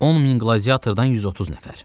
10 min gladiatordan 130 nəfər.